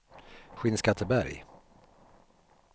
Skinnskatteberg